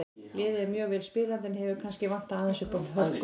Liðið er mjög vel spilandi en hefur kannski vantað aðeins uppá hörkuna.